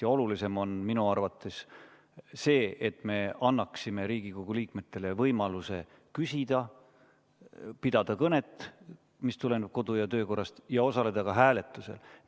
Ja olulisem on minu arvates see, et me annaksime Riigikogu liikmetele võimaluse küsida, pidada kõnet, mis tuleneb kodu- ja töökorrast, ja osaleda ka hääletusel.